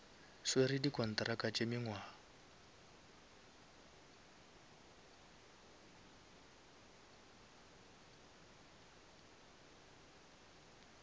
swere di kontraka tša mengwaga